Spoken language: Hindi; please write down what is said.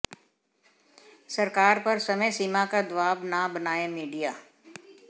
सरकार पर समय सीमा का दबाव न बनाए मीडिया